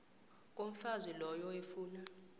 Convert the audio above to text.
komfazi loyo efuna